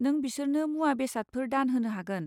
नों बिसोरनो मुवा बेसादफोर दान होनो हागोन।